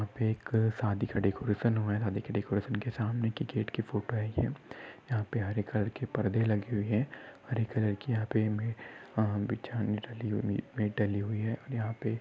यहा पे शादी एक डेकोरेशन हुआ है। डेकोरेशन के सामने के गेट की फोटो है। यह यहा पे हरे कलर की पर्दे लगे हुए है। हरी कलर की यहा पे हमे बिछाने डाली हुई है। यहा पे--